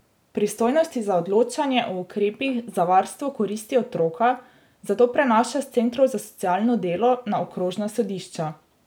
Pristojnosti za odločanje o ukrepih za varstvo koristi otroka zato prenaša s centrov za socialno delo na okrožna sodišča.